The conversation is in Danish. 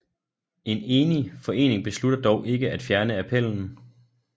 En enig forening beslutter dog ikke at fjerne appellen